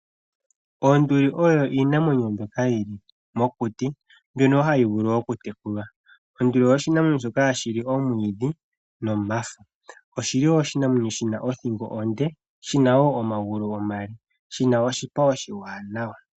Oonduli oyo iinamwenyo mbyoka yi li mokuti mbyono ha yi vulu okutekulwa. Onduli oshinamwenyo shoka hashi li omwiidhi nomafo. Oshi li wo oshinamwenyo shi na othingo onde, shi na wo omagulu omale, shi na oshipa oshiwanawa.